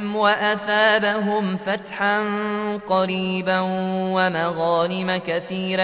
عَلَيْهِمْ وَأَثَابَهُمْ فَتْحًا قَرِيبًا